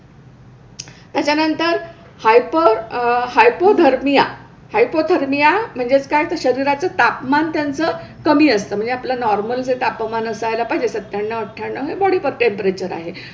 त्याच्यानंतर hyper uh hypothermia. Hypothermia म्हणजेच काय तर शरीराचं तापमान त्यांचं कमी असतं, म्हणजे आपलं नॉर्मल जे तापमान असायला पाहिजे सत्त्याण्णव अठ्ठ्याण्णव हे बॉडी टेम्परेचर आहे.